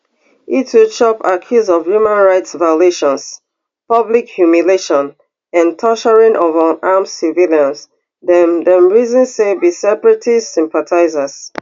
e too chop accuse of human rights violations public humiliation and torturing of unarmed civilians dem dem reason say be separatist sympathisers